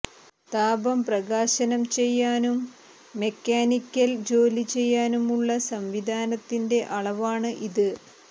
താപം പ്രകാശനം ചെയ്യാനും മെക്കാനിക്കൽ ജോലി ചെയ്യാനുമുള്ള സംവിധാനത്തിന്റെ അളവാണ് ഇത്